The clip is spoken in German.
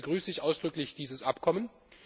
Deswegen begrüße ich ausdrücklich dieses Abkommen.